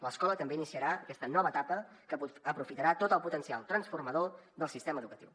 l’escola també iniciarà aquesta nova etapa que aprofitarà tot el potencial transformador del sistema educatiu